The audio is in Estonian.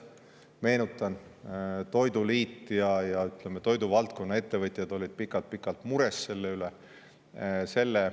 Meenutan, toiduliit ja toiduvaldkonna ettevõtjad olid pikalt-pikalt mures selle üle.